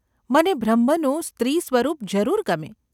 મને બ્રહ્મનું સ્ત્રી-સ્વરૂપ જરૂર ગમે.